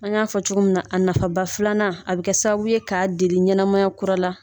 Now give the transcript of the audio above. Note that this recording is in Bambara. An y'a fɔ cogo min na a nafaba filanan a bɛ kɛ sababu ye k'a deli ɲɛnamaya kura la